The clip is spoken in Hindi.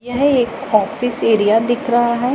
यह एक ऑफिस एरिया दिख रहा है।